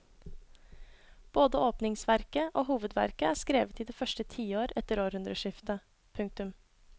Både åpningsverket og hovedverket er skrevet i det første tiår etter århundreskiftet. punktum